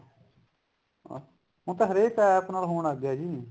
ਹੁਣ ਤਾਂ ਹਰੇਕ APP ਨਾਲ ਹੋਣ ਲੱਗ ਗਿਆ ਜੀ